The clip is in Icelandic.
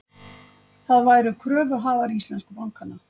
Það væru kröfuhafar íslensku bankanna